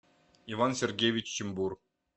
иван сергеевич чумбур